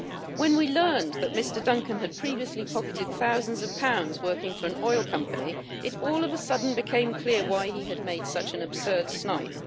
When we learned that Mr Duncan had previously pocketed thousands of pounds working for an oil company, it all of a sudden became clear why he had made such an absurd snipe.